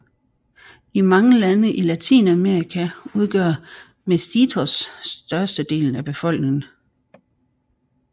I mange lande i Latinamerika udgør mestizos størstedelen af befolkningen